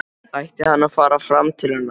Ætti hann að fara fram til hennar?